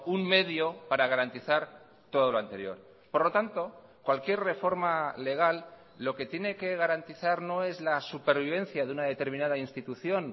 un medio para garantizar todo lo anterior por lo tanto cualquier reforma legal lo que tiene que garantizar no es la supervivencia de una determinada institución